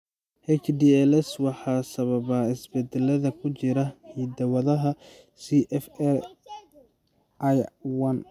HDLS waxaa sababa isbeddellada ku jira hidda-wadaha CSF1R.